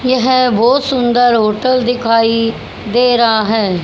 येह बहोत सुंदर होटल दिखाई दे रहा हैं।